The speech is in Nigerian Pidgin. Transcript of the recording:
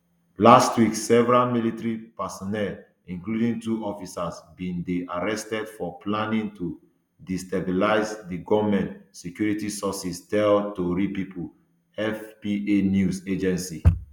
last week several military personnel including two officers bin dey arrested for planning to destabilise di goment security sources tell tori pipo afp news agency